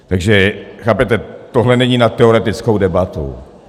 Takže chápete, tohle není na teoretickou debatu.